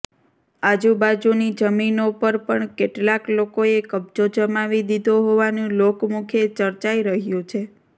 આજુબાજુની જમીનો પર પણ કેટલાક લોકોએ કબ્જો જમાવી દીધો હોવાનું લોકમુખે ચર્ચાઈ રહ્યું છે